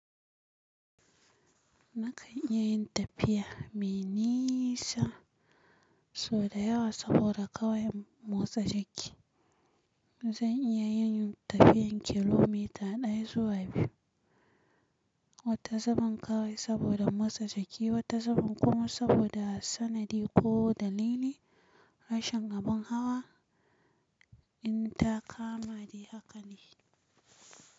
Nakan iya yin tafiya mai nisa, sau da yawa saboda ƙawai in motsa jiki. Zan iya yin tafiyan kilomita ɗaya zuwa biyu, wata zubin ƙawai saboda in motsa jiki, wata zubin kuma, saboda sanadi ko dalili, rashin abun hawa, in ta kama ni haka ne.